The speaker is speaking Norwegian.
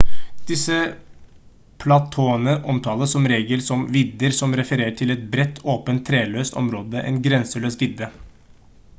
disse platåene omtales som regel som «vidder» som refererer til et bredt åpent treløst område en grenseløs vidde